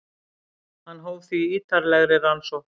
Hann hóf því ítarlegri rannsókn.